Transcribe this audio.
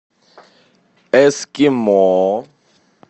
эскимо